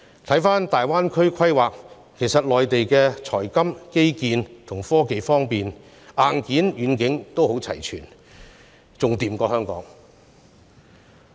細看大灣區的規劃，其實內地就財金、基建和科技方面，其硬件和軟件均十分齊全，更勝香港。